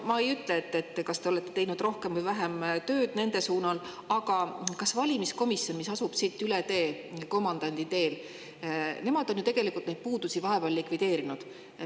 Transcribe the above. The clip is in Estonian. Ma ei küsi, kas te olete teinud rohkem või vähem tööd nende suunal, aga valimiskomisjon, mis asub siit üle tee Komandandi teel, on ju tegelikult neid puudusi vahepeal likvideerinud.